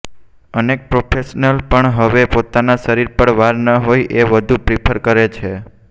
અનેક પ્રોફેશનલ્સ પણ હવે પોતાના શરીર પર વાળ ન હોય એ વધુ પ્રિફર કરે છે